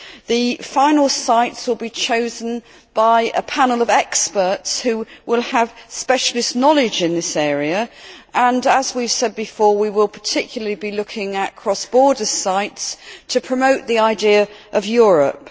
The final sites will be chosen by a panel of experts who will have specialist knowledge in this area and, as I have said before, we will particularly be looking at cross border sites to promote the idea of Europe.